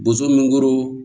Boso min kɔrɔ